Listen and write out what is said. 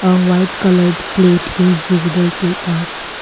a white colour plate is visible to us.